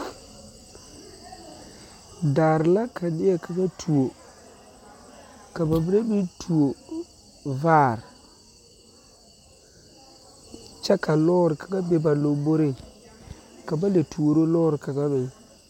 Dɔre la ka neɛ kaŋa tuo ka ba mine meŋ tuo vaare kyɛ ka lɔɔre kaŋa be ba lɔmboreŋ ka ba lɛ tuoro lɔɔre kaŋa meŋ.